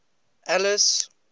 alice